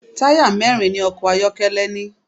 Táyà mẹ́rin ni ọkọ̀ ayọ́kẹ́lẹ́ ní.